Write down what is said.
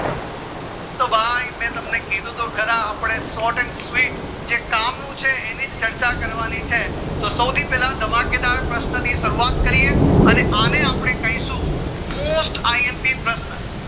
તો ભાય મેં તમને કીધું તો ખરા અપડે short and sweet જે કામ નું છે એનીજ ચર્ચા કરવાની છે તો સૌથી પેલા ધમાકેદાર પ્રશન થી શરૂવાત કરીએ અને અપડે કેસુ most imp પ્રશ્ન